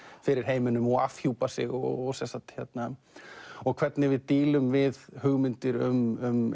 fyrir heiminum og afhjúpa sig og og hvernig við dílum við hugmyndir um